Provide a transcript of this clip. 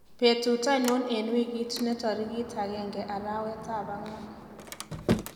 betut ainon en wigit ne torigit agenge arawet ab agwan